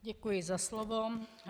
Děkuji za slovo.